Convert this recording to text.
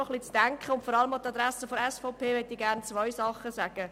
Und vor allem der SVP möchte ich gerne zwei Dinge mitteilen.